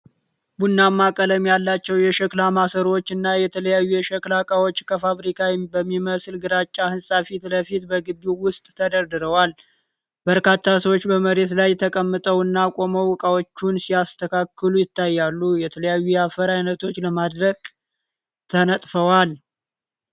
ቡናማ ቀለም ያላቸው የሸክላ ማሰሮዎችና የተለያዩ የሸክላ ዕቃዎች ከፋብሪካ በሚመስል ግራጫ ሕንፃ ፊት ለፊት በግቢው ውስጥ ተደርድረዋል። በርካታ ሰዎች በመሬት ላይ ተቀምጠውና ቆመው ዕቃዎቹን ሲያስተካክሉ ይታያሉ። የተለያዩ የአፈር አይነቶች ለማድረቅ ተነጥፈዋል።